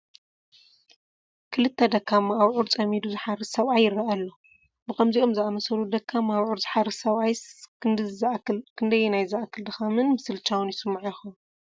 ክልተ ደካማ ኣብዑር ፀሚዱ ዝሓርስ ሰብኣይ ይርአ ኣሎ፡፡ ብከምዚኦም ዝኣምሰሉ ደካማ ኣብዑር ዝሓርስ ሰብኣይስ ክንደዝ ዝኣክል ድኻምን ምስልቻውን ይስምዖ ይኸውን?